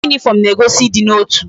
Uwe uniform na egosi idi na otu